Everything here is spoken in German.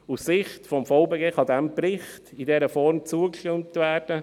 Aus der Sicht des VBG kann diesem Bericht in dieser Form zugestimmt werden.